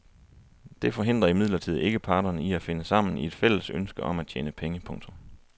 Det forhindrer imidlertid ikke parterne i at finde sammen i et fælles ønske om at tjene penge. punktum